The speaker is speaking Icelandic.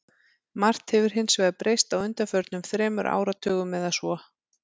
Margt hefur hins vegar breyst á undanförnum þremur áratugum eða svo.